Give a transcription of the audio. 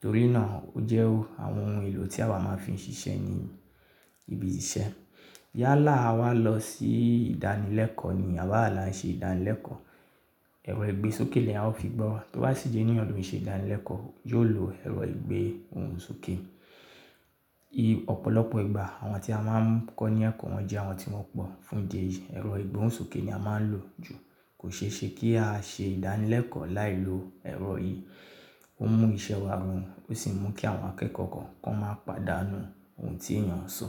Torí náà, ó jẹ́ ó àwọn ohun èlò tí àwa máa ń fi ń ṣiṣẹ́ ní ibi ìṣe. Yálà, àwa lọ sí ìdánilẹ́kọ̀ọ́ ni, àbawa là ń ṣe ìdánilẹ́kọ̀ọ́, ẹ̀rọ ìgbésókè ni àwa ó fi gbọ́. Bí wá sì jẹ́ ní ọ̀dọ̀ mí ṣe ìdánilẹ́kọ̀ọ́, yóò lo ẹ̀rọ ìgbésókè. Ọ̀pọ̀lọpọ̀ ìgbà àwọn tí a máa ń kọ́ ní ẹ̀kọ́, wọ́n jẹ́ àwọn tí wọ́n pọ̀. Fún ìdí èyí, ẹ̀rọ ìgbóhùnsókè ni a máa ń lò jù. Kò ṣe é ṣe kí á ṣe ìdánilẹ́kọ̀ọ́ láì lo ẹ̀rọ yìí. Ó mú iṣẹ́ wa roùn, ó sì mú kí àwọn akẹ́kọ̀ọ́ kọ̀ọ̀kan máa pàdánù ohun tí èèyàn ń sọ.